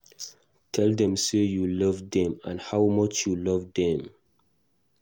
Tell them sey you love them and how much you love them